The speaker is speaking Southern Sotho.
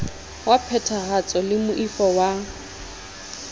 wa phethahatso le moifo wa